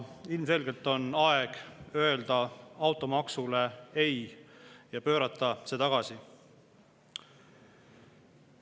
Ilmselgelt on aeg öelda automaksule ei ja pöörata see tagasi.